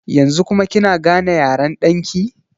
Yanzu kuma kina gane yaren ɗan ki?